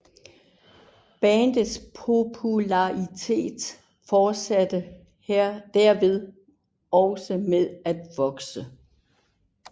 Bandets popularitet fortsatte derved også med at vokse